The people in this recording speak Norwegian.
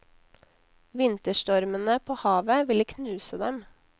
Vinterstormene på havet ville knuse dem.